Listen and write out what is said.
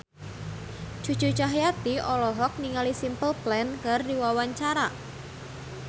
Cucu Cahyati olohok ningali Simple Plan keur diwawancara